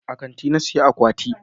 A kanti na saya akwati na